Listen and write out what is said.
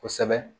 Kosɛbɛ